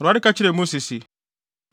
Awurade ka kyerɛɛ Mose se,